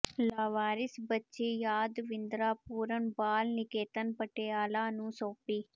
ਲਾਵਾਰਿਸ ਬੱਚੀ ਯਾਦਵਿੰਦਰਾ ਪੂਰਨ ਬਾਲ ਨਿਕੇਤਨ ਪਟਿਆਲਾ ਨੂੰ ਸੌਾਪੀ